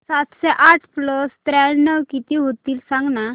सातशे आठ प्लस त्र्याण्णव किती होईल सांगना